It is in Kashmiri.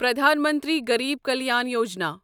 پرٛدھان منتری غریب کلیان یوجنا